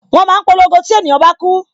Wọn máa ń polongo tí ènìyàn bá ku